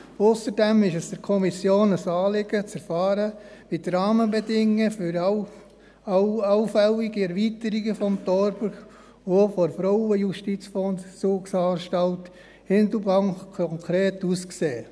Ausserdem ist es der Kommission ein Anliegen zu erfahren, wie die Rahmenbedingungen für allfällige Erweiterungen des Thorbergs und auch der Frauenjustizvollzugsanstalt Hindelbank konkret aussehen.